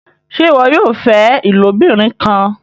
ṣe iwọ yóò fẹ ilobirin kán?